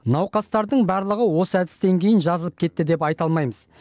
науқастардың барлығы осы әдістен кейін жазылып кетті деп айта алмаймыз